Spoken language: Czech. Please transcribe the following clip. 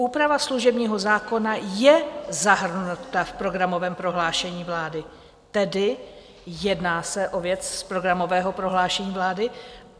Úprava služebního zákona je zahrnuta v programovém prohlášení vlády, tedy jedná se o věc z programového prohlášení vlády.